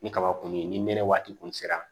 Ni kaba kɔni ye ni nɛnɛ waati kun sera